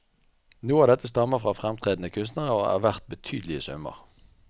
Noe av dette stammer fra fremtredende kunstnere, og er verdt betydelige summer.